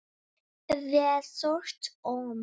Sá stutti.